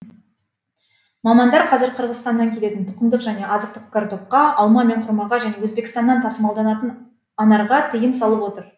мамандар қазір қырғызстаннан келетін тұқымдық және азықтық картопқа алма мен құрмаға және өзбекстаннан тасымалданатын анарға тыйым салып отыр